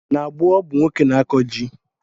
N'gboo ọ bụ nwoke n'akụ ji